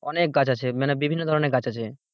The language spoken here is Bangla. অনেক গাছ আছে মানে বিভিন্ন ধরনের গাছ আছে,